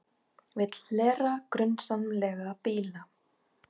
Vill hlera grunsamlega bíla